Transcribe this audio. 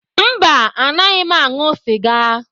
Mba, anaghị m aṅụ sịga.